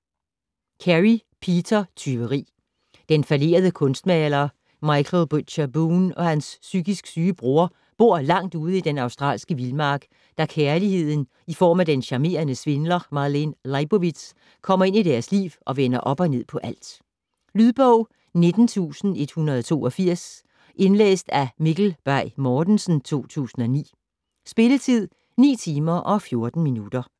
Carey, Peter: Tyveri Den fallerede kunstmaler Michael Butcher Boone og hans psykisk syge bror bor langt ude i den australske vildmark, da kærligheden i form af den charmerende svindler Marlene Leibovitz kommer ind i deres liv og vender op og ned på alt. Lydbog 19182 Indlæst af Mikkel Bay Mortensen, 2009. Spilletid: 9 timer, 14 minutter.